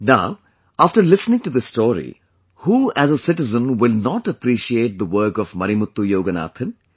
Now after listening to this story, who as a citizen will not appreciate the work of Marimuthu Yoganathan